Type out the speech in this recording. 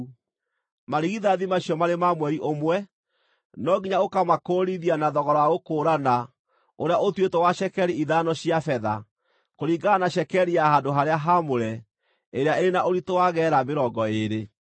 Marigithathi macio marĩ ma mweri ũmwe, no nginya ũkaamakũũrithia na thogora wa gũkũũrana ũrĩa ũtuĩtwo wa cekeri ithano cia betha, kũringana na cekeri ya handũ-harĩa-haamũre, ĩrĩa ĩrĩ na ũritũ wa geera mĩrongo ĩĩrĩ.